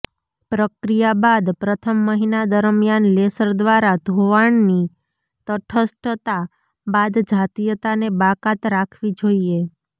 પ્રક્રિયા બાદ પ્રથમ મહિના દરમિયાન લેસર દ્વારા ધોવાણની તટસ્થતા બાદ જાતીયતાને બાકાત રાખવી જોઈએ